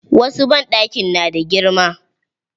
Wasu banɗakin na da girma.